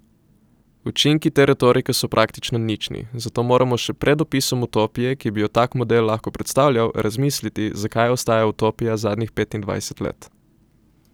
Učinki te retorike so praktično nični, zato moramo še pred opisom utopije, ki bi jo tak model lahko predstavljal, razmisliti, zakaj ostaja utopija zadnjih petindvajset let.